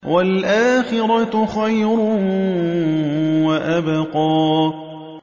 وَالْآخِرَةُ خَيْرٌ وَأَبْقَىٰ